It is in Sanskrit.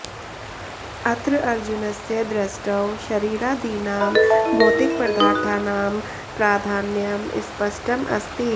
अत्र अर्जुनस्य दृष्टौ शरीरादीनां भौतिकपदार्थानां प्राधान्यं स्पष्टम् अस्ति